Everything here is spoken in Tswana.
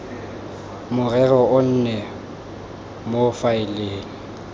morero o nne mo faeleng